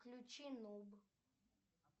включи нуб